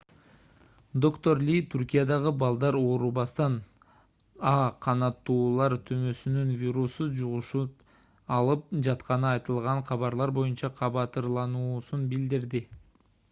доктор ли түркиядагы балдар оорубастан а h5n1 канаттуулар тумоосунун вирусун жугузуп алып жатканы айтылган кабарлар боюнча кабатырлануусун билдирди